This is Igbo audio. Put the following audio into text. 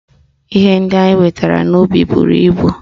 Ihe ndị anyị wetara n'ubi buru ibu